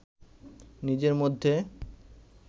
নিজের মধ্যে